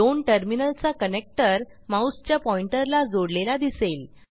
दोन टर्मिनल चा कनेक्टर माऊसच्या पॉइंटर ला जोडलेला दिसेल